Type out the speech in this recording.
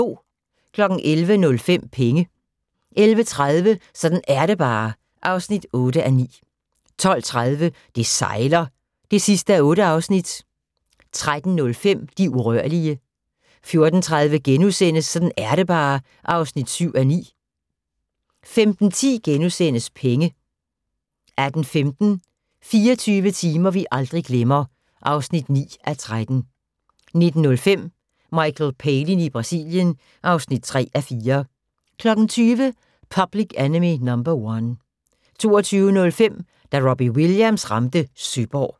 11:05: Penge 11:30: Sådan er det bare (8:9) 12:30: Det sejler (8:8) 13:05: De urørlige 14:30: Sådan er det bare (7:9)* 15:10: Penge * 18:15: 24 timer vi aldrig glemmer (9:13) 19:05: Michael Palin i Brasilien (3:4) 20:00: Public Enemy No. 1 22:05: Da Robbie Williams ramte Søborg